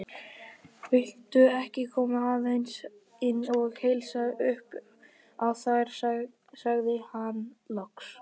Viltu ekki koma aðeins inn og heilsa upp á þær sagði hann loks.